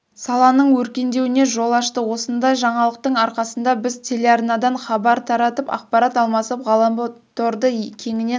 саланың өркендеуіне жол ашты осындай жаңалықтың арқасында біз телеарнадан хабар таратып ақпарат алмасып ғаламторды кеңінен